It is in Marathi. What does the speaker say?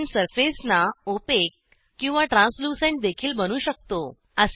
आपण सर्फेसना ओपेक किंवा ट्रांस्लूसेंट देखील बनवू शकतो